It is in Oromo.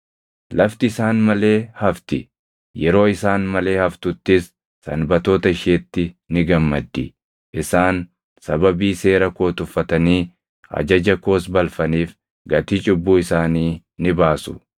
Lafti isaan malee hafti; yeroo isaan malee haftuttis sanbatoota isheetti ni gammaddi. Isaan sababii seera koo tuffatanii ajaja koos balfaniif gatii cubbuu isaanii ni baasu.